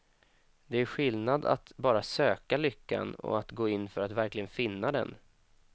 Det är skillnad på att bara söka lyckan och att gå in för att verkligen finna den.